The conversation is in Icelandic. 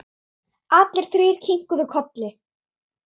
Allir þrír kinkuðu kolli.